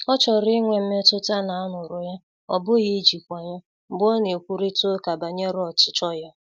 Ọ chọrọ inwe mmetụta na a nụ̀rụ ya,ọ bụghi ijikwa ya, mgbe ọ na-ekwurịta ụka banyere ọchichọ ya.